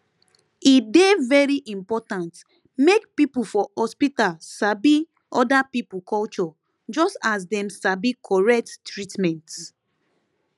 e dey very important make people for hospital sabi other people culture just as dem sabi correct treatment